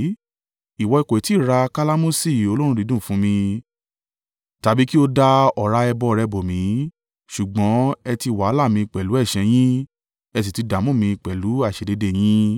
Ìwọ kò tí ì ra kalamusi olóòórùn dídùn fún mi, tàbí kí o da ọ̀rá ẹbọ rẹ bò mí. Ṣùgbọ́n ẹ ti wàhálà mi pẹ̀lú ẹ̀ṣẹ̀ yín ẹ sì ti dààmú mi pẹ̀lú àìṣedéédéé yín.